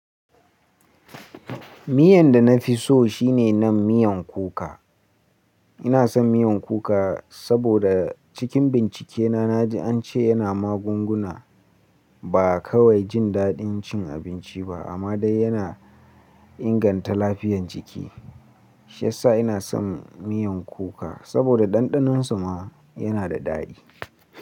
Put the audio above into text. Miyan da na fi so shine nan miyan kuka. Ina son miyan kuka saboda cikin bincike na na ji an ce yana magunguna, ba kawai jin daɗin cin abinci ba amma dai yana inganta lafiyan jiki. Shi yasa ina son miyan kuka saboda ɗanɗanonsa ma yana da daɗi.